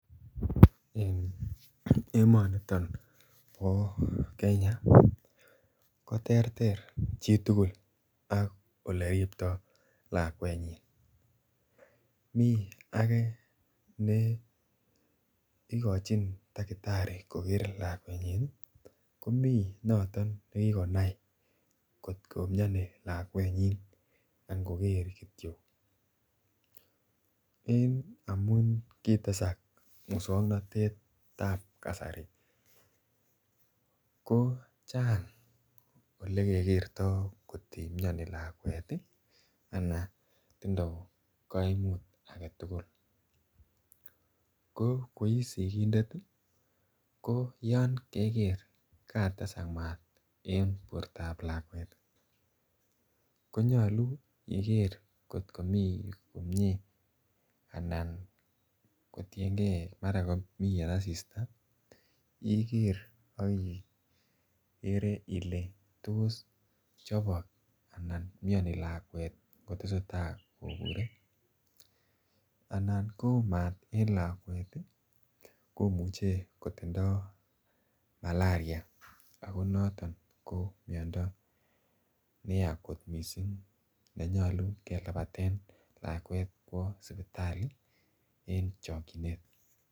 Eng emoniton nebo Kenya koter ter chitugul ak ole riptoi lakwenyin mii age ne ikochin dakitari koker lakwet nyin komi noton nekikonai kotkomioni lakwet nyin angoker kityo en amun kotesak muswongnotet ap kasari ko chang olekekertoi atkoimioni lakwet ana tindoi kaimut agetugul ko ko ii sikindet ko yo keker katesak maat eng borto ap lakwet konyolu igere kotkomii komie anan kotiengei kora komii en asista iger aki kere ile toschopok anan imioni lakwet anan kotko ta kobure anan koyoo maat eng lakwet komuchei kotindoi malaria ako noton ko miondo neya kot mising nenyolu kelabaten lakwet kwo sipitali en chokchinet.